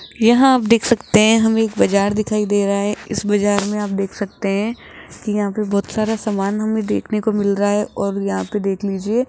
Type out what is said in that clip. यहां आप देख सकते हैं हमें एक बाजार दिखाई दे रहा है इस बाजार में आप देख सकते हैं कि यहां पे बहुत सारा सामान हमें देखने को मिल रहा है और यहां पे देख लीजिए --